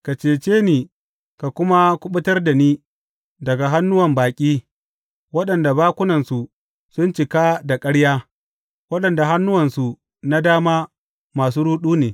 Ka cece ni ka kuma kuɓutar da ni daga hannuwan baƙi waɗanda bakunansu sun cika da ƙarya, waɗanda hannuwansu na dama masu ruɗu ne.